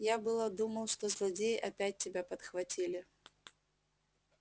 я было думал что злодеи опять тебя подхватили